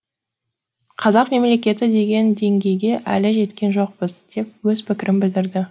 қазақ мемлекеті деген деңгейге әлі жеткен жоқпыз деп өз пікірін білдірді